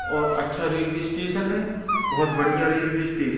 और अच्छा railway station है बहोत बढ़िया रेलवे स्टेश--